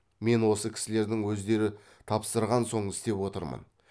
мен осы кісілердің өздері тапсырған соң істеп отырмын